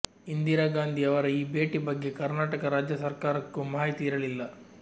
ಇಂದಿರಾ ಗಾಂಧಿ ಅವರ ಈ ಭೇಟಿ ಬಗ್ಗೆ ಕರ್ನಾಟಕ ರಾಜ್ಯ ಸರ್ಕಾರಕ್ಕೂ ಮಾಹಿತಿ ಇರಲಿಲ್ಲ